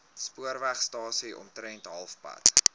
spoorwegstasie omtrent halfpad